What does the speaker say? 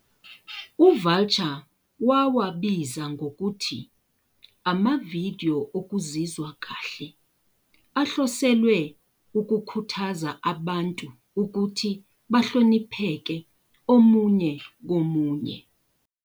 UVulture wawabiza" ngokuthi amavidiyo "okuzizwa kahle" ahloselwe "ukukhuthaza abantu ukuthi bahlonipheke omunye komunye."